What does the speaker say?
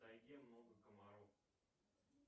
в тайге много комаров